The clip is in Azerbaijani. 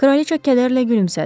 Kraliçə kədərlə gülümsədi.